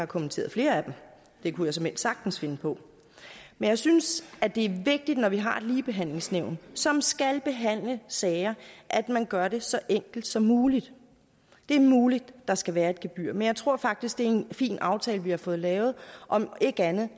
kommenteret flere af dem det kunne jeg såmænd sagtens finde på men jeg synes det er vigtigt når vi har et ligebehandlingsnævn som skal behandle sager at man gør det så enkelt som muligt det er muligt at der skal være et gebyr men jeg tror faktisk det er en fin aftale vi har fået lavet og om ikke andet